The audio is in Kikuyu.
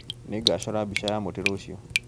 Nĩngacora mbica ya mũtĩ rũciũ